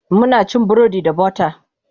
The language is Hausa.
Muna cin burodi da butter